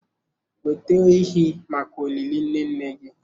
Weta ehi maka olili nne nne gị.